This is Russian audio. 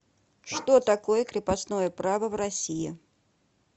что такое крепостное право в россии